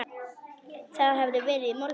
Það hafði verið í morgun.